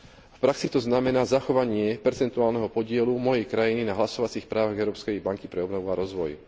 V praxi to znamená zachovanie percentuálneho podielu mojej krajiny na hlasovacích právach Európskej banky pre obnovu a rozvoj.